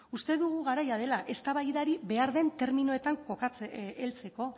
uste dugu garaia dela eztabaidari behar den terminoetan heltzeko